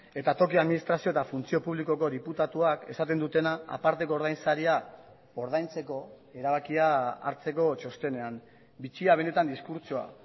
eta toki administrazio eta funtzio publikoko diputatuak esaten dutena aparteko ordainsaria ordaintzeko erabakia hartzeko txostenean bitxia benetan diskurtsoa